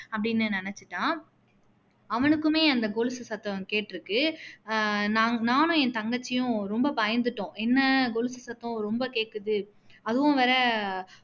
அப்படின்னு நினைச்சுட்டான் அவனுக்குமே அன்த கொலுசு சத்தம் கேட்டுருக்கு அஹ் நா நானும் என் தங்கச்சியும் ரொம்ப பயந்துட்டோம் என்ன கொலுசு சத்தம் ரொம்ப கேக்குது அதுவும் வேற